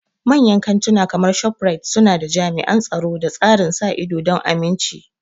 Manyan kantuna kamar ShopRite suna da jami'an tsaro da tsarin sa ido don aminci.